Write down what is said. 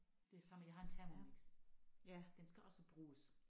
Ligesom jeg har en thermomix. Den skal også bruges